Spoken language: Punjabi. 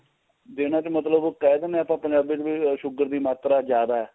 ਦੇਣਾ ਤੇ ਮਤਲਬ ਕਹਿ ਦੇਣੇ ਆ ਆਪਾਂ ਪੰਜਾਬੀ ਚ ਵੀ sugar ਦੀ ਮਾਤਰਾ ਜਿਆਦਾ ਏ